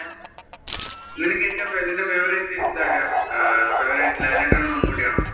നിനക്കു ഏറ്റവും നിന്‍റെ favorite ഇത് ആരാ അഹ് ലാലേട്ടൻ ആണോ മമ്മൂട്ടി ആണോ?